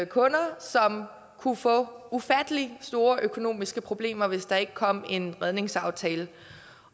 kunder som kunne få ufattelig store økonomiske problemer hvis der ikke kom en redningsaftale